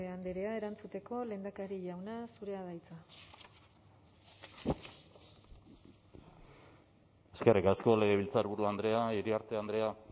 andrea erantzuteko lehendakaria jauna zurea da hitza eskerrik asko legebiltzarburu andrea iriarte andrea